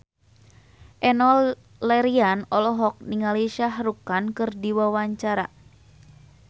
Enno Lerian olohok ningali Shah Rukh Khan keur diwawancara